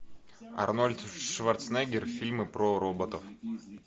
арнольд шварценеггер фильмы про роботов